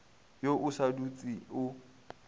ye o sa dutse o